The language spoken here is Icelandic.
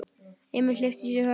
Emil hleypti í sig hörku.